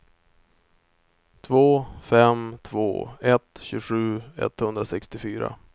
två fem två ett tjugosju etthundrasextiofyra